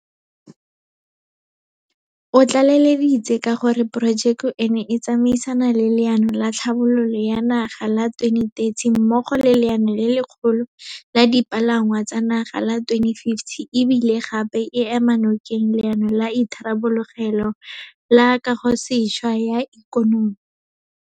O tlaleleditse ka gore porojeke eno e tsamaisana le Leano la Tlhabololo ya Naga la 2030 mmogo le Leano le Lekgolo la Dipalangwa tsa Naga la 2050 e bile gape e ema nokeng Leano la Itharabologelo le Kagosešwa ya Ikonomi.